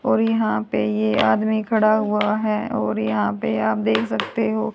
और यहां पे ये आदमी खड़ा हुआ है और यहां पे आप देख सकते हो--